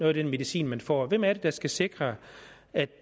af den medicin man får hvem er det der skal sikre at